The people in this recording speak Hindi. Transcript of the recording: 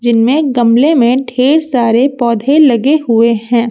इनमें गमले में ढेर सारे पौधे लगे हुए हैं।